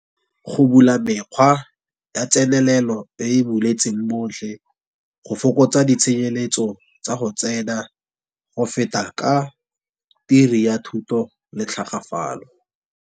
Go bula mekgwa ya tsenelelo e e buletseng botlhe, go fokotsa ditshenyeletso tsa go tsena go feta ka ya thuto le tlhagafalo.